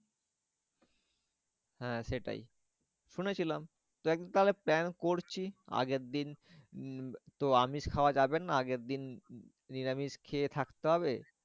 হ্যাঁ সেটাই শুনেছিলাম। দেখ তাহলে plan করছি আগের দিন উম তো আমিষ খাওয়া যাবে না আগের দিন নিরামিষ খেয়ে থাকতে হবে।